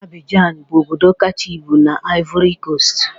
Abidjan bụ obodo kacha ibu na Ivory Coast